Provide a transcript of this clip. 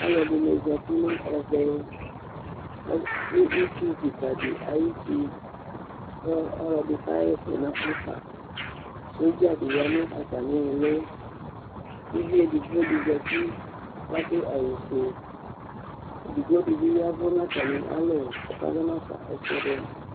Alʋ ɛdɩnɩ zati nʋ ɛvɛ, nʋ itsu kɩka dɩ ayʋ uti, kʋ ɔlɔdɩ kaɣa ɛsɛ nʋ afa, sɔdza dɩ ya nʋ atamɩ ɩɣɩlɩ, uvi edigbo dɩ zati kʋ adʋ awʋ fue, edigbo dɩ bɩ ya nʋ atamɩ alɔ kʋ ɔkazɔ nafa ɛsɛdɩ